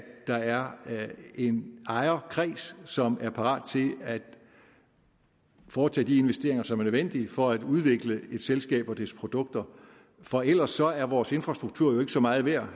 der er en ejerkreds som er parat til at foretage de investeringer som er nødvendige for at udvikle et selskab og dets produkter for ellers er vores infrastruktur ikke så meget værd